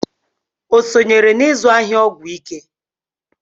O sonyere n'izụ ahịa ọgwụ ike?